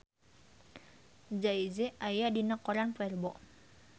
Jay Z aya dina koran poe Rebo